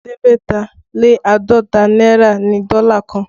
Ẹ̀ẹ́dẹ́gbẹ̀ta lé àádọ́ta náírà ni dọ́là kan